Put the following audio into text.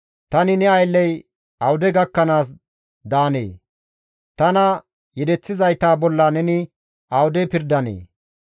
Tani ne aylley awude gakkanaas daanee? Tana yedeththizayta bolla neni awude pirdanee?